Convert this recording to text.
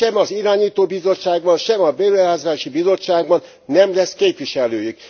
Sem az irányító bizottságban, sem a Beruházási Bizottságban nem lesz képviselőjük.